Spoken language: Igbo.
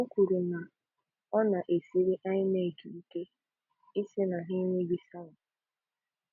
O kwuru na ọ na-esiri INRC ike ịsị na ha enweghị sava.